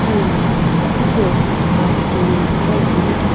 ena hipau aa hipauye metsughoi ani.